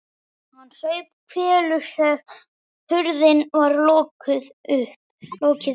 Hann saup hveljur þegar hurðinni var lokið upp.